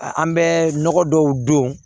An bɛ nɔgɔ dɔw don